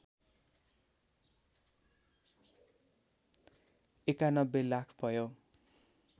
९१ लाख भयो